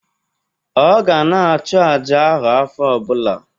Ọ ga na-achụ àjà ahụ afọ ọbụla